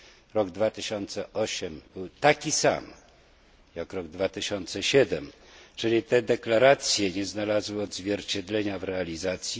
Rok 2008 był taki sam jak rok 2007, czyli te deklaracje nie znalazły odzwierciedlenia w realizacji.